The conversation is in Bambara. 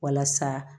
Walasa